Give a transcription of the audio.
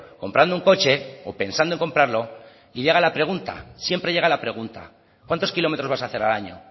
comprando un coche o pensando en comprarlo y llega la pregunta siempre llega la pregunta cuántos kilómetros vas a hacer al año